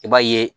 I b'a ye